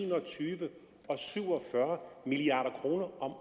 en og tyve og syv og fyrre milliard kroner om